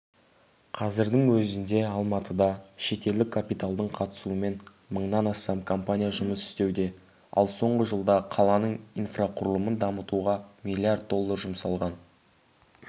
қазірдің өзінде алматыда шетелдік капиталдың қатысуымен мыңнан астам компания жұмыс істеуде ал соңғы жылда қаланың инфрақұрылымын дамытуға миллиард доллар жұмсалған